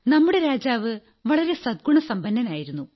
നമ്മുടെ രാജാവ് വളരെ സദ്ഗുണസമ്പന്നനായിരുന്നു